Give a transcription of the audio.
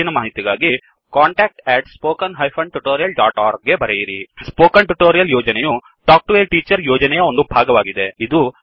ಹೆಚ್ಚಿನ ಮಾಹಿತಿಗಾಗಿ contactspoken tutorialorg ಗೆ ಬರೆಯಿರಿ ಸ್ಪೋಕನ್ ಟ್ಯುಟೋರಿಯಲ್ ಯೋಜನೆಯು ಟಾಕ್ ಟು ಎ ಟೀಚರ್ ಯೋಜನೆಯ ಒಂದು ಭಾಗವಾಗಿದೆ